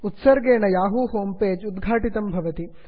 उत्सर्गेण Yahoo home page उद्घाटितं भवति